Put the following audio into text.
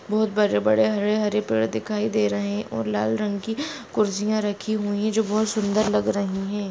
बहुत बड़े बड़े हरे हरे पेड़ दिखाई दे रहे है और लाल रंग की कुर्सियां रखी जो बहुत सूंदर लग रही है।